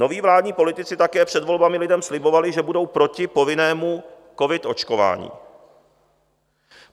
Noví vládní politici také před volbami lidem slibovali, že budou proti povinnému covid očkování.